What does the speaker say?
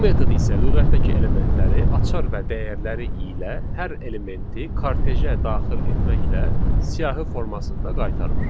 Bu metod isə lüğətdəki elementləri açar və dəyərləri ilə hər elementi kartejə daxil etməklə siyahı formasında qaytarır.